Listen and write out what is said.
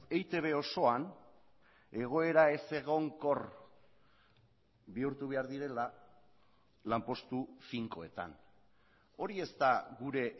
eitb osoan egoera ezegonkor bihurtu behar direla lanpostu finkoetan hori ez da gure